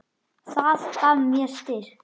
Það gaf mér styrk.